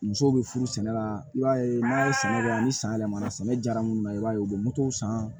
Musow be furu sɛnɛ la i b'a ye n'a ye sɛnɛ kɛ yan ni san yɛlɛmara sɛnɛ jara munnu na i b'a ye u bɛ san